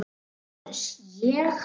LÁRUS: Ég?